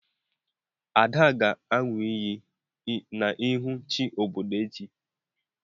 Ada ga-aṅụ iyi n'ihu chi obodo echi.